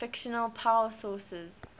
fictional power sources